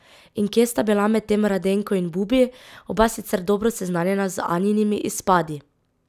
In kje sta bila medtem Radenko in Bubi, oba sicer dobro seznanjena z Anjinimi izpadi?